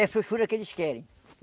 É frouxura que eles querem.